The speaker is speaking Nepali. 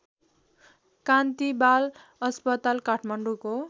कान्ति बाल अस्पताल काठमाडौँको